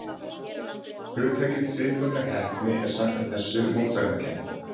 Hugtakið siðferðileg heppni er samkvæmt þessu mótsagnakennt.